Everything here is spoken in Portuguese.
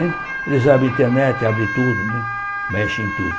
Eles abrem internet, abrem tudo né, mexem em tudo.